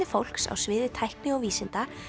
fólks á sviði tækni og vísinda